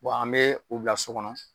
an bɛ u bila so kɔnɔ